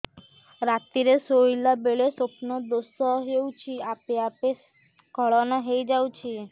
ରାତିରେ ଶୋଇଲା ବେଳେ ସ୍ବପ୍ନ ଦୋଷ ହେଉଛି ଆପେ ଆପେ ସ୍ଖଳନ ହେଇଯାଉଛି